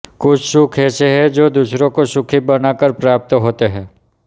कुछ सुख ऐसे हैं जो दूसरों को सुखी बनाकर प्रप्त होते हैं